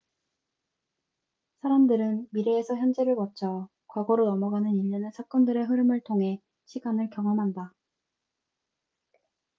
사람들은 미래에서 현재를 거쳐 과거로 넘어가는 일련의 사건들의 흐름을 통해 시간을 경험한다